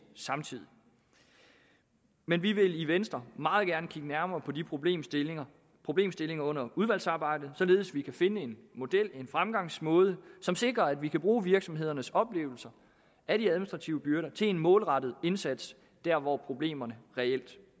samtidig men vi vil i venstre meget gerne kigge nærmere på de problemstillinger problemstillinger under udvalgsarbejdet således at vi kan finde en model en fremgangsmåde som sikrer at vi kan bruge virksomhedernes oplevelser af de administrative byrder til en målrettet indsats der hvor problemerne reelt